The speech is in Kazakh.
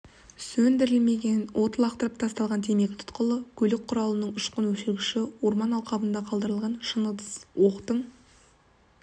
сөндірілмеген от лақтырып тасталған темекі тұқылы көлік құралының ұшқын өшіргіші орман алқабында қалдырылған шыны ыдыс оқтың